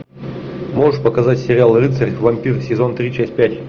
можешь показать сериал рыцарь вампир сезон три часть пять